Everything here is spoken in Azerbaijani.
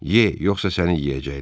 Ye, yoxsa səni yeyəcəklər.